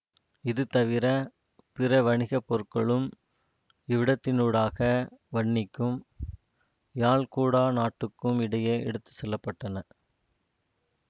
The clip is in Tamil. இது தவிர பிற வணிக பொருட்களும் இவ்விடத்தினூடாக வன்னிக்கும் யாழ் குடாநாட்டுக்கும் இடையே எடுத்து செல்லப்பட்டன